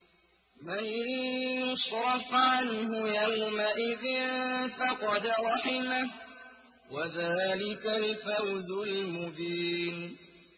مَّن يُصْرَفْ عَنْهُ يَوْمَئِذٍ فَقَدْ رَحِمَهُ ۚ وَذَٰلِكَ الْفَوْزُ الْمُبِينُ